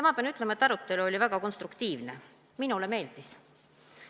Ma pean ütlema, et arutelu oli väga konstruktiivne, minule meeldis.